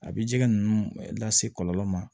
A bi jɛgɛ ninnu lase kɔlɔlɔ ma